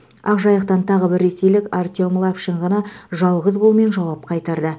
ақжайықтан тағы бір ресейлік артем лапшин ғана жалғыз голмен жауап қайырды